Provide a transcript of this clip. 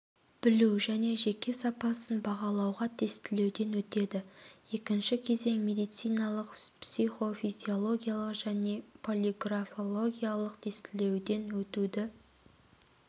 білу және жеке сапасын бағалауға тестілеуден өтеді екінші кезең медициналық психофизиологиялық және полиграфологиялық тексеруден өтуді